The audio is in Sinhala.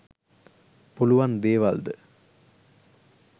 පුළුවන් දේවල්ද?